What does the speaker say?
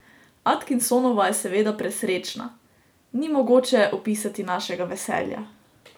Atkinsonova je seveda presrečna: "Ni mogoče opisati našega veselja.